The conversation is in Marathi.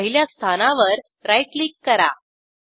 पहिल्या स्थानावर राईट क्लिक करा